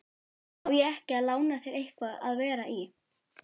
Á ég ekki að lána þér eitthvað að vera í?